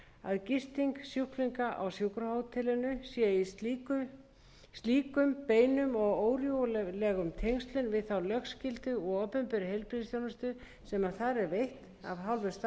að gisting sjúklinga á sjúkrahótelinu sé í slíkum beinum og órjúfanlegum tengslum við þá lögskyldu og opinberu heilbrigðisþjónustu sem þar er veitt af hálfu starfsmanna